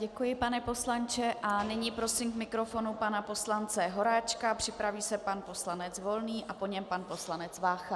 Děkuji, pane poslanče, a nyní prosím k mikrofonu pana poslance Horáčka, připraví se pan poslanec Volný a po něm pan poslanec Vácha.